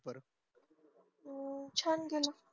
हम्म छान गेले